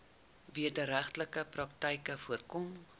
wederregtelike praktyke voorkom